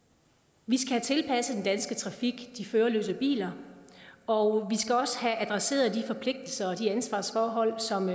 vi skal have tilpasset den danske trafik til de førerløse biler og vi skal også have adresseret de forpligtelser og de ansvarsforhold som